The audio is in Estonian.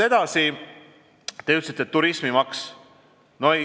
Edasi, te mainisite turismimaksu.